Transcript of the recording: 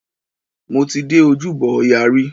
Mo ti dé Ojúbọ ọya rí.